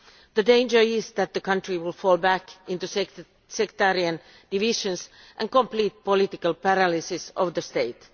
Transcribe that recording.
The danger is that the country will fall back into sectarian divisions and complete political paralysis of the state.